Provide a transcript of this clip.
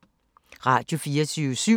Radio24syv